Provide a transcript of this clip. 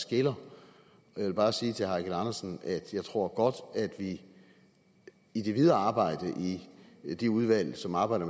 skiller jeg vil bare sige til herre eigil andersen at jeg godt tror at vi i det videre arbejde i de udvalg som arbejder